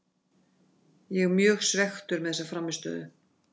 Ég er mjög svekktur með þessa frammistöðu.